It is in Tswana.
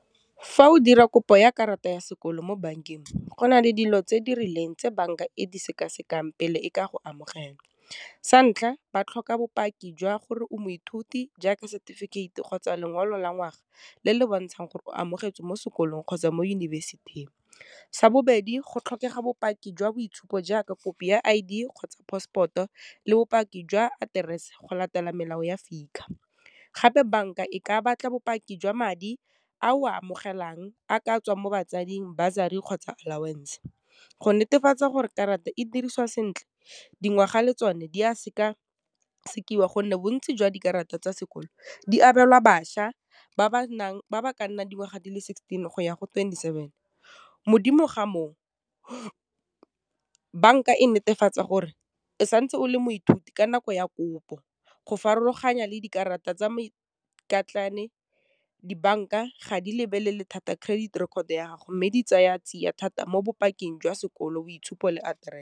Fa o dira kopo ya karata ya sekolo mo bankeng, go na le dilo tse di rileng tse bank-a e di sekasekang pele e ka go amogela. Santlha ba tlhoka bopaki jwa gore o moithuti jaaka setefikeite, kgotsa lengolo la ngwaga le le bontshang gore o amogetswe mo sekolong kgotsa mo yunibesithing, sa bobedi go tlhokega bopaki jwa boitshupo jaaka kopi I_D, kgotsa passport-o le bopaki jwa aterese go latela melao ya FICA, gape bank-a e ka batla bopaki jwa madi a a o a amogelang, a ka tswang mo batsading, bursary, kgotsa allowance go netefatsa gore karata e dirisiwa sentle, dingwaga le tsone di a seka sekiwa gonne bontsi jwa dikarata tsa sekolo, di abelwa bašwa ba ba ka nnang dingwaga di le sixteen go ya go twenty-seven, modimo ga moo, bank-a e netefatsa gore e santse o le moithuti ka nako ya kopo go farologanya le dikarata tsa dibank-a ga di lebelele thata credit record ya gago, mme di tsaya tsia thata mo bopaki jwa sekolo, boitshupo, le aterese.